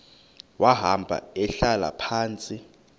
wahamba ehlala phantsi